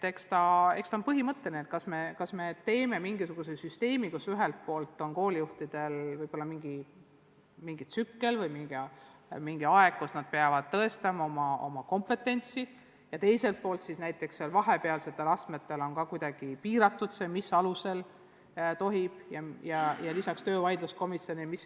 Eks see ole põhimõtteline otsus, kas me loome mingisuguse süsteemi, mille kohaselt ühelt poolt on koolijuhtidele antud mingi aeg, kus nad peavad tõestama oma kompetentsi, ja teiselt poolt on vahepealsetel astmetel kuidagi piiratud, mis alusel tohib töölepingu lõpetada – lisaks muidugi töövaidluskomisjonile.